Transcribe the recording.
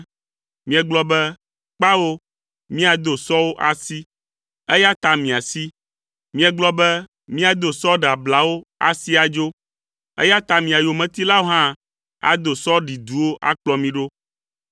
Miegblɔ be, ‘Kpao, míado sɔwo asi’, eya ta miasi! ‘Miegblɔ be miado sɔ ɖeablawo asi adzo.’ Eya ta mia yometilawo hã ado sɔ ɖiduwo akplɔ mi ɖo.